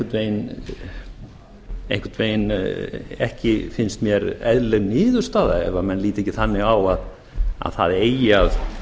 það er einhvern veginn ekki finnst mér eðlileg niðurstaða ef menn líta ekki þannig á að það eigi að